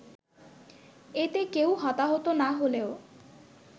এতে কেউ হতাহত না হলেও